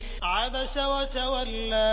عَبَسَ وَتَوَلَّىٰ